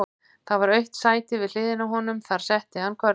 Það var autt sæti við hliðina á honum, þar setti hann körfuna.